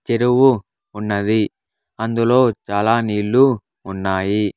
చెరువు ఉన్నది అందులో చాలా నీళ్లు ఉన్నాయి.